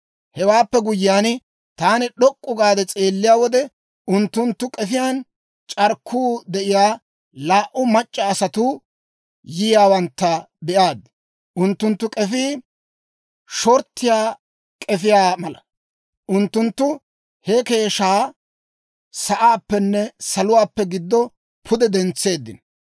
Hewaappe guyyiyaan, taani d'ok'k'u gaade s'eelliyaa wode, unttunttu k'efiyaan c'arkkuu de'iyaa laa"u mac'c'a asatuu yiyaawantta be'aad; unttunttu k'efii shortiyaa k'efiyaa mala. Unttunttu he keeshshaa sa'aappenne saluwaappe giddoo pude dentseeddino.